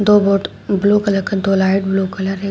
दो boat blue colour का दो लाइट ब्लू कलर है।